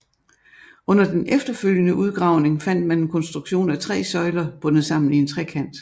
Under den efterfølgende udgravning fandt man en konstruktion af tre søjler bundet sammen i en trekant